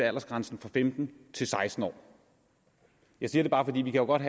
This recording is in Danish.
aldersgrænsen fra femten til seksten år jeg siger det bare for vi kan godt